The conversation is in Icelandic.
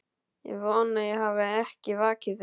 Ég vona ég hafi ekki vakið þig